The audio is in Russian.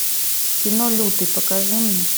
кино лютый покажи мне